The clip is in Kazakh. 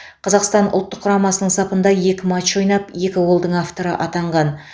қазақстан ұлттық құрамасының сапында екі матч ойнап екі голдың авторы атанған